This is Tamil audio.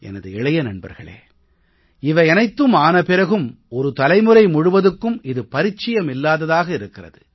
எனது இளைய நண்பர்களே இவையனைத்தும் ஆன பிறகும் ஒரு தலைமுறை முழுவதுக்கும் இது பரிச்சயமில்லாததாக இருக்கிறது